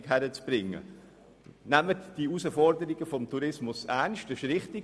Nehmen Sie die Herausforderungen des Tourismus ernst, das ist richtig.